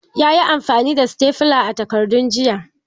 Yayi amfani da sitafula a takardun jiya.